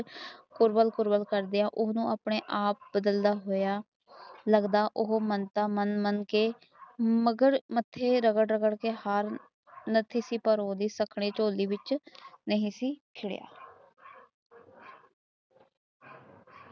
ਫੁਰਵਾਲ ਫੁਰਵਾਲ ਕਰਦਿਆਂ ਉਸਨੂੰ ਆਪਣੇ ਆਪ ਬਦਲਦਾ ਹੋਇਆ ਲੱਗਦਾ ਉਹ ਮਾਨਤਾ ਮੰਗਦਾ ਮੰਗ ਮੰਗ ਕੇ ਮਗਰ ਮੱਥੇ ਰਗੜ ਰਗੜ ਕੇ ਕੇ ਹਰ ਮਗਰ ਪਰ ਉਸਦੀ ਸ਼ਕਣੀ ਝੋਲੀ ਵਿਚ ਨਹੀਂ ਸੀ ਖਿੜਿਆ